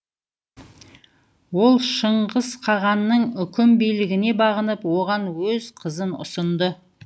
ол шыңғыс қағанның үкім билігіне бағынып оған өз қызын ұсынды